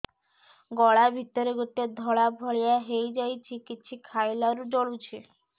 ଗଳା ଭିତରେ ଗୋଟେ ଧଳା ଭଳିଆ ହେଇ ଯାଇଛି କିଛି ଖାଇଲାରୁ ଜଳୁଛି